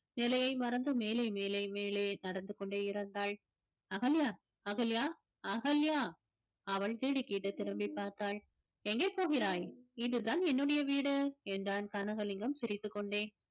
நிலையை மறந்து மேலே மேலே மேலே நடந்து கொண்டே இருந்தாள் அகல்யா அகல்யா அகல்யா அவள் திடுக்கிட்டு திரும்பிப் பார்த்தாள் எங்க போகிறாய் இதுதான் என்னுடைய வீடு என்றான் கனகலிங்கம் சிரித்துக் கொண்டே